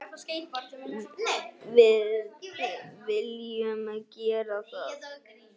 Við viljum gera það.